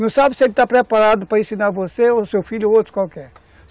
Não sabe se ele está preparado para ensinar você, ou seu filho, ou outro qualquer.